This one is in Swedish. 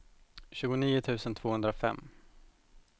tjugonio tusen tvåhundrafem